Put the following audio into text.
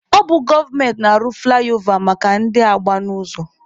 Ọ bụ gọọmenti na-arụ fụlaịova maka ndị na-agba n'ụzọ.